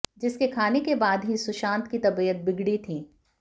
जिसके खाने के बाद ही सुशांत की तबीयत बिगड़ी थी